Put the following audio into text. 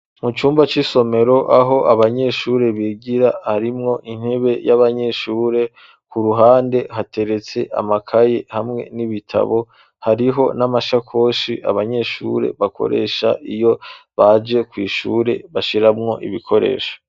Mu cumba c'isomero aho abanyeshure bigira harimwo intebe y'abanyeshure, ku ruhande hateretse amakaye hamwe n'ibitabo hariho n'amashakoshi abanyeshure bakoresha iyo baje kw' ishure bashiramwo ibikoresho.